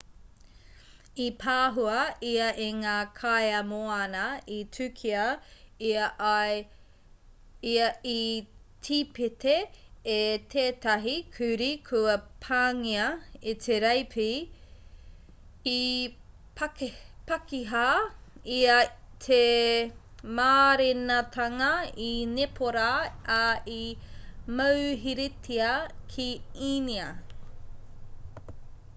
i pāhua ia e ngā kaiā moana i tukia ia i tipete e tētahi kurī kua pāngia e te reipi i pakiha ia i te mārenatanga i nepōra ā i mauheretia ki īnia